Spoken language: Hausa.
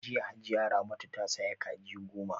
Jiya Hajiya Ramatu ta saya Kaji goma